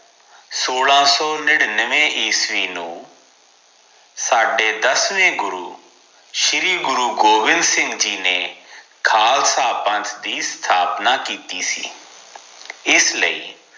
ਸੋਲਾਂ ਸੋ ਨਿਨਿਨਵੇ ਈਸਵੀ ਨੂੰ ਸਾਡੇ ਦਸਵੇਂ ਗੁਰੂ ਸ਼੍ਰੀ ਗੁਰੂ ਗੋਵਿੰਦ ਸਿੰਘ ਜੀ ਨੇ ਖਾਲਸਾ ਪੰਥ ਦੀ ਸਥਾਪਨਾ ਕੀਤੀ ਸੀ ਇਸ ਲਈ